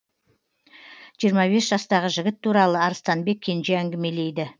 жиырма бес жастағы жігіт туралы арыстанбек кенже әңгімелейді